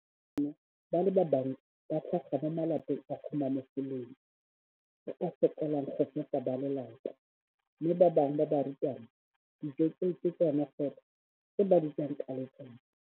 Bana ba le bantsi ba tlhaga mo malapeng a a humanegileng a a sokolang go ka fepa ba lelapa mme ba bangwe ba barutwana, dijo tseo ke tsona fela tse ba di jang ka letsatsi.